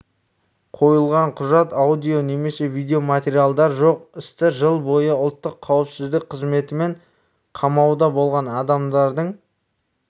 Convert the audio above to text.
қойылған құжат аудио немесе видеоматериалдар жоқ істі жыл бойы ұлттық қауіпсіздік қызметімен қамауда болған адамдардың